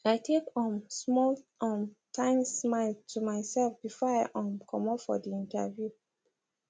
i take um small um timesmile to myself before i um comot for the interview